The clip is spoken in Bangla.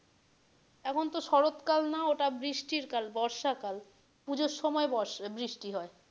এখন তো শরৎ কাল না ওটা বৃষ্টির কাল বর্ষা কাল পুজোর সময় বর্ষা বৃষ্টি হয়।